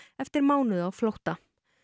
eftir mánuð á flótta